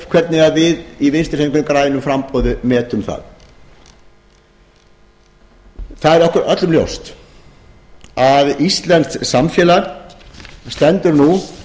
hvernig við í vinstri hreyfingunni grænu framboði metum það okkur er öllum ljóst að íslenskt samfélag stendur nú